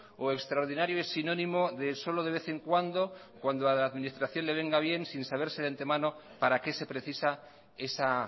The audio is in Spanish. o extraordinario es sinónimo de solo de vez en cuando cuando a la administración le venga bien sin saberse de antemano para qué se precisa esa